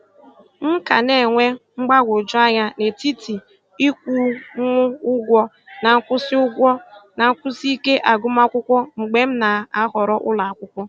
M ka na-enwe mgbagwojuanya n'etiti ịkwụnwu ụgwọ na nkwụsị ụgwọ na nkwụsị ike agụmakwụkwọ mgbe m na-ahọrọ ụlọakwụkwọ.